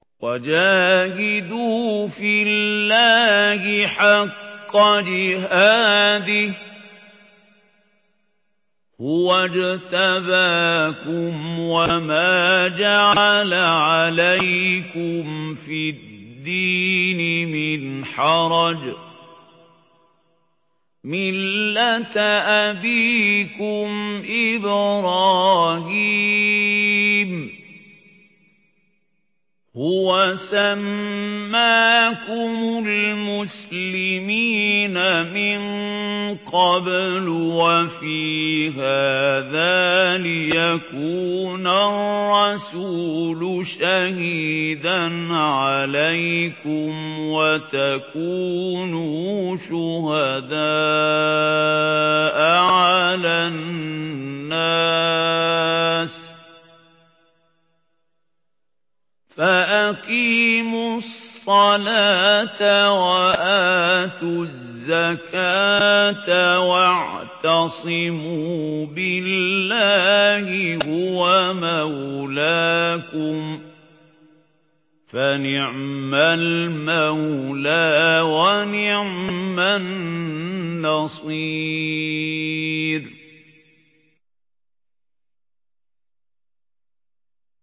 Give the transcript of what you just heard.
وَجَاهِدُوا فِي اللَّهِ حَقَّ جِهَادِهِ ۚ هُوَ اجْتَبَاكُمْ وَمَا جَعَلَ عَلَيْكُمْ فِي الدِّينِ مِنْ حَرَجٍ ۚ مِّلَّةَ أَبِيكُمْ إِبْرَاهِيمَ ۚ هُوَ سَمَّاكُمُ الْمُسْلِمِينَ مِن قَبْلُ وَفِي هَٰذَا لِيَكُونَ الرَّسُولُ شَهِيدًا عَلَيْكُمْ وَتَكُونُوا شُهَدَاءَ عَلَى النَّاسِ ۚ فَأَقِيمُوا الصَّلَاةَ وَآتُوا الزَّكَاةَ وَاعْتَصِمُوا بِاللَّهِ هُوَ مَوْلَاكُمْ ۖ فَنِعْمَ الْمَوْلَىٰ وَنِعْمَ النَّصِيرُ